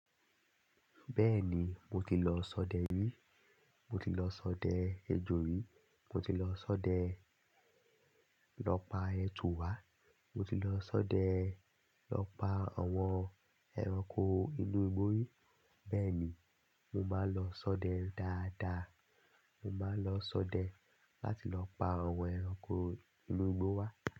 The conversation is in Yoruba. Bẹ́ẹ̀ ni, mo ti lọ sọdẹ rí, mo ti lọ sọdẹ ejò rí, mo ti lọ sọdẹ lọ pa ẹtù wá, mo ti lọ sọdẹ lọ pa àwọn ẹranko inú igbó rí. Bẹ́ẹ̀ ni, mo máa lọ sọdẹ dáadáa, mo máa lọ sọdẹ láti lọ pa àwọn ẹranko inú igbó wá.